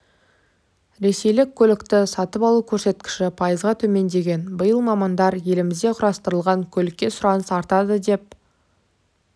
ресейлік көлікті сатып алу көрсеткіші пайызға төмендеген биыл мамандар елімізде құрастырылған көлікке сұраныс артады деп